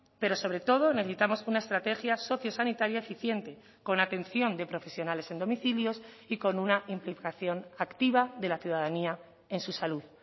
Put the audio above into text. pero sobre todo necesitamos una estrategia sociosanitaria eficiente con atención de profesionales en domicilios y con una implicación activa de la ciudadanía en su salud